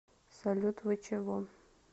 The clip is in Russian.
салют вы чего